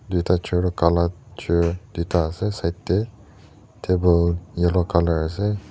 tui ta chair tho gala chair tuita ase side tey table yellow colour ase.